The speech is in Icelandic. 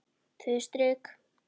Tvö strik.